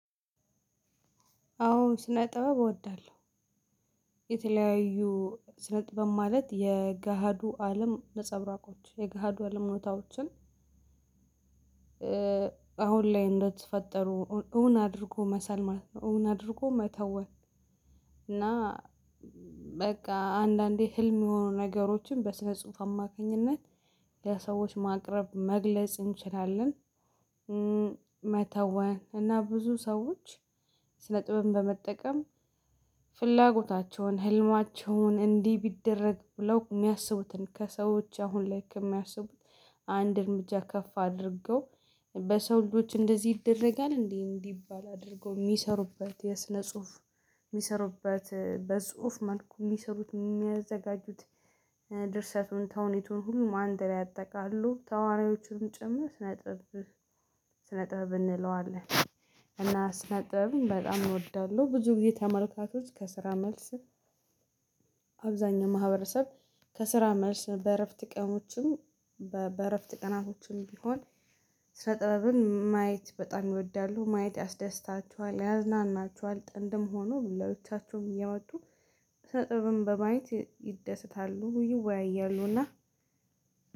አዎ ስነጥበብ እወዳለሁ የተለያዩ ስነጥበብ ማለት የገሃዱ አለም ነጸብራቆች የገሃዱ አለም እውነታዎችን። አሁን ላይ እንደተፈጠሩ እውን አድርጎ መሳል ማለት ነው እውን አድርጎ መተወን። እና በቃ አንዳንዴ ህልም የሆኑ ነገሮችን በስነ ጽሁፍ አማካኝነት ለሰዎች ማቅረብ መግለጽ እንችላለን። መተውን እና ብዙ ሰዎች ስነ ጥበብን በመጠቀም ፍላጎታቸውን ህልማቸውን እንዲህ ቢደረግ ብለው የሚያስቡትን ከሰዎች አሁን ላይ ከሚያስቡት አንድ እርምጃ ከፍ አድርገው በሰው ልጆች እንደዚህ ይደረጋል እንዴ እንዲባል አድርገው የሚሰሩበት የስነ ጽሁፍ። የሚሰሩበት በጽሁፍ መልኩ የሚሰሩት የሚያዘጋጁት ድርሰቱን ተውኔቱን ሁሉ አንድ ላይ አጠቃሎ ተዋናዎቹን ጭምር ስነጥበብ ስነጥበብ እንለዋለን። እና ስነጥበብ በጣም ይወዳለሁ ብዙ ጊዜ ተመልካቾች ከስራ መልስ። አብዛኛው ማህበረሰብ ከስራ መልስ በእረፍት ቀኖችም በእረፍት ቀናቶችም ቢሆን። ስነ ጥበብን ማየት በጣም ይወዳሉ ማየት ያስደስታችኋል ያዝናናችኋል ጥንድም ሆኖ ለብቻቸውም እየመጡ ስነ ጥበብን በማየት ይደሰታሉ ይወያያሉና።